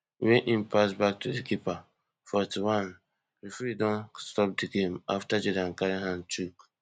wey im pass back to di keeper forty-onereferee don stop di game afta jordan carry hand chook